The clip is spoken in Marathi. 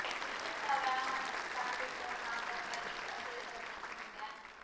विशेषतः व्यायामानेच पाठदुखीवर मात करता येईल असेही तज्ज्ञांचे म्हणणे आहे